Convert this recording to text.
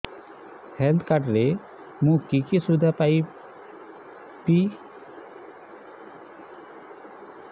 health card ରେ ମୁଁ କି କି ସୁବିଧା ପାଇବି